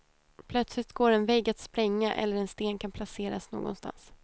Plötsligt går en vägg att spränga eller en sten kan placeras någonstans.